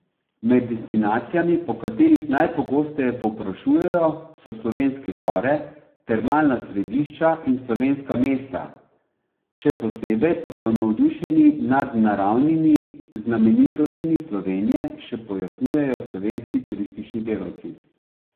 Med destinacijami, po katerih najpogosteje povprašujejo, so slovenske gore, termalna središča in slovenska mesta, še posebej pa so navdušeni nad naravnimi znamenitostmi Slovenije, še pojasnjujejo slovenski turistični delavci.